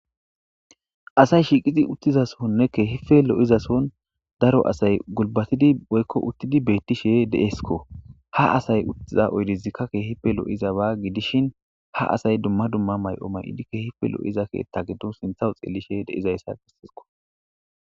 Asayi shiqiddi utizassonne kehippe loizasohoni kehippe gulibatidi woyikko utidi betishe desikko ha asayi utiza oyidezika kehippe liizaba gidishshin ha asayi dumma dumma mayo mayidi kehippe loiza keththa gidoni sintha xeliishshe desikko